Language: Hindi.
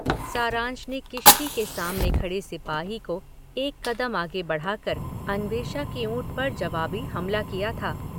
सारांश ने किश्ती के सामने खड़े सिपाही को एक कदम आगे बढ़ा कर अन्वेषा के ऊंट पर जवाबी हमला किया था।